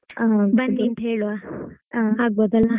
ಬನ್ನಿ ಅಂತಾ ಹೇಳ್ವಾ ಆಗಬೋದಲ್ಲಾ?